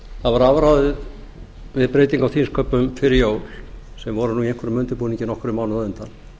það var afráðið við breytingu á þingsköpum fyrir jól sem voru nú í einhverjum undirbúningi nokkrum mánuðum á undan